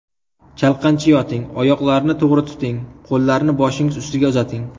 Chalqancha yoting, oyoqlarni to‘g‘ri tuting, qo‘llarni boshingiz ustiga uzating.